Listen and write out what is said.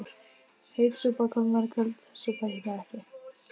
Heit súpa kólnar köld súpa hitnar ekki